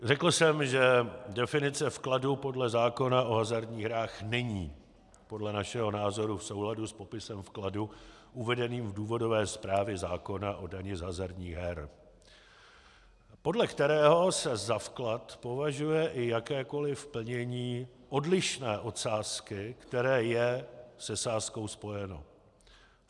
Řekl jsem, že definice vkladu podle zákona o hazardních hrách není podle našeho názoru v souladu s popisem vkladu uvedeným v důvodové zprávě zákona o dani za hazardních her, podle kterého se za vklad považuje i jakékoliv plnění odlišné od sázky, které je se sázkou spojeno.